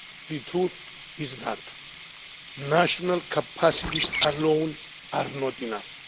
The truth is that national capacities alone are not enough.